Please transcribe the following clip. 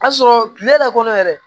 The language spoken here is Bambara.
Ka sɔrɔ kile la kɔnɔ yɛrɛ